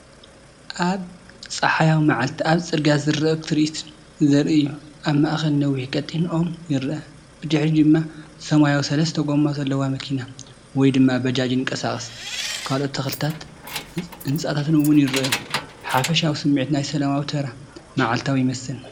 ኣብ ጸሓያዊ መዓልቲ ኣብ ጽርግያ ዝረአ ትርኢት ዘርኢ እዩ። ኣብ ማእከል ነዊሕን ቀጢንን ኦም ይርአ፡ ብድሕሪት ድማ ሰማያዊት ሰለስተ ጎማ ዘለዋ መኪና (ባጃጅ) ይንቀሳቐስ። ካልኦት ተኽልታትን ህንጻታትን እውን ይረኣዩ። ሓፈሻዊ ስሚዒት ናይ ሰላማዊ፡ ተራ መዓልታዊ ይመስል፡፡